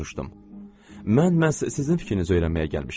Mən məhz sizin fikrinizi öyrənməyə gəlmişəm.